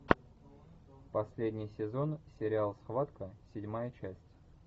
последний сезон сериал схватка седьмая часть